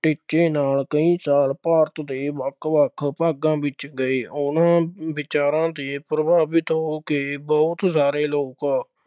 ਟੀਚੇ ਨਾਲ ਕਈ ਸਾਲ ਭਾਰਤ ਦੇ ਵੱਖ-ਵੱਖ ਭਾਗਾਂ ਵਿੱਚ ਗਏ। ਉਨ੍ਹਾਂ ਦੇ ਵਿਚਾਰਾਂ ਤੋਂ ਪ੍ਰਭਾਵਿਤ ਹੋ ਕੇ ਬਹੁਤ ਸਾਰੇ ਲੋਕ